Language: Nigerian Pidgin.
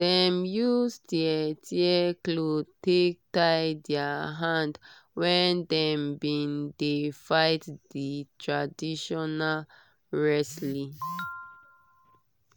dem use tear tear clothe take tie their hand when dem been dey fight di traditional wrestling